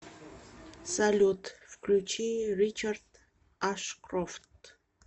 салют включи ричард ашкрофт